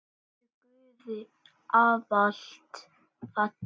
Vertu Guði ávallt falin.